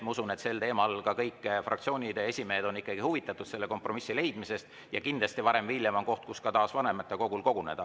Ma usun, et ka kõik fraktsioonide esimehed on ikkagi huvitatud kompromissi leidmisest ja kindlasti varem või hiljem on aeg taas vanematekogul koguneda.